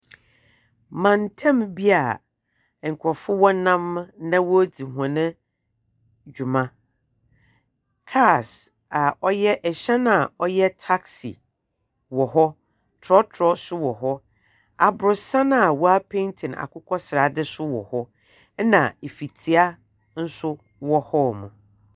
Mantamu bi a nkorɔfo nam na wɔredzi hɔn dwuma. Cars a ɔyɛ ɛhyɛn a ɔyɛ taxi wɔ hɔ, trɔtrɔ nso wɔ hɔ. Aborɔsan a wɔapeenti no akokɔ seradze nso wɔ hɔ. Ɛna efitia nso wɔ hɔ.